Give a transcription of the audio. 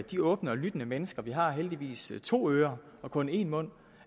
de åbne og lyttende mennesker vi har heldigvis to ører og kun én mund